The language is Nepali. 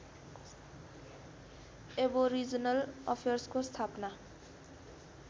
ऐबोरिजनल अफेयर्सको स्थापना